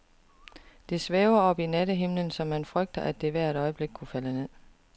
Det svæver oppe i nattehimlen, så man frygter, at det hvert øjeblik kunne falde ned.